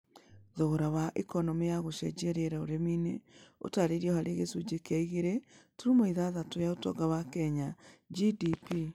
Thogora wa ikonomĩ ya ũcenjia wa rĩera ũrĩmi-inĩ ũtarĩirwo harĩ gicunje kĩa igĩre tũrũmo ithathatĩ ya ũtonga wa Kenya (GDP)